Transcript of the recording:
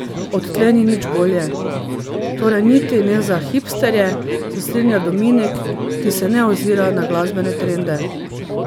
Odtlej ni nič bolje.